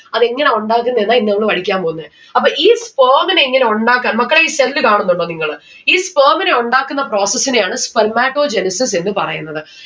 അതെങ്ങന ഉണ്ടാക്കുന്നെന്നാ ഇന്ന് നമ്മൾ പഠിക്കാൻ പൊന്നെ അപ്പൊ ഈ sperm നെ എങ്ങനെ ഉണ്ടാക്ക മക്കളെ ഈ cell കാണുന്നുണ്ടോ നിങ്ങള്? ഈ sperm നെ ഉണ്ടാക്കുന്ന process നെയാണ് Spermatogenesis എന്ന് പറയുന്നത്